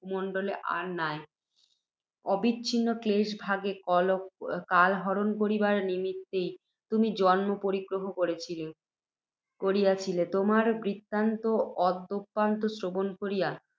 ভূমণ্ডলে আর নাই। অবিচ্ছিন্ন ক্লেশভোগে কালহরণ করিবার নিমিত্তই, তুমি জন্ম পরিগ্রহ করিয়াছিলে। তোমার বৃত্তান্ত আদ্যোপান্ত শ্রবণ করিয়া,